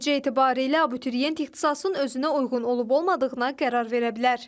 Nəticə etibarilə abituriyent ixtisasın özünə uyğun olub-olmadığına qərar verə bilər.